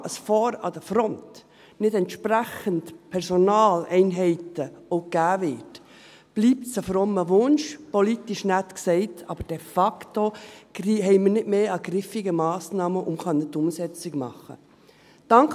Solange vorne an der Front nicht auch entsprechend Personaleinheiten gegeben werden, bleibt es ein frommer Wunsch, politisch nett gesagt, aber de facto haben wir nicht mehr griffige Massnahmen, um die Umsetzung machen zu können.